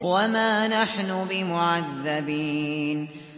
وَمَا نَحْنُ بِمُعَذَّبِينَ